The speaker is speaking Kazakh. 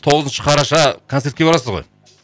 тоғызыншы қараша концертке барасыз ғой